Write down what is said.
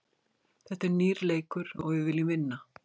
Þetta er nýr leikur og við viljum vinna.